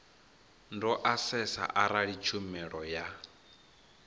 do asesa arali tshumelo ya